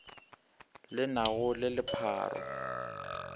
le na go le lepharo